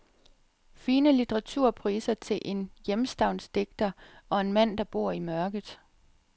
Fine litteraturpriser til en hjemstavnsdigter og en mand, der bor i mørket.